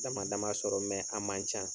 Dama dama sɔrɔ mɛ a man ca.